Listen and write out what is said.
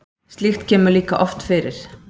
Slíkt kemur líka oft fyrir.